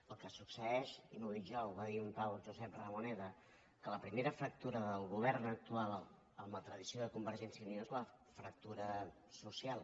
el que succeeix i no ho dic jo ho va dir un tal josep ramoneda que la primera fractura del govern actual amb la tradició de convergència i unió és la fractura social